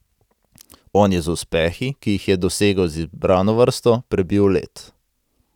On je z uspehi, ki jih je dosegel z izbrano vrsto, prebil led.